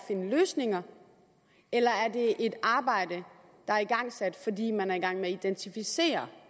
finde løsninger eller er det et arbejde der er igangsat fordi man er i gang med at identificere